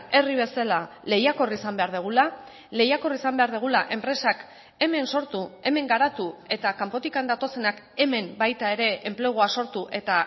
herri bezala lehiakor izan behar dugula lehiakor izan behar dugula enpresak hemen sortu hemen garatu eta kanpotik datozenak hemen baita ere enplegua sortu eta